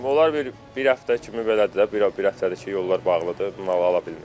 Yollar bir-bir həftə kimi belədir də, bir həftədir ki, yollar bağlıdır.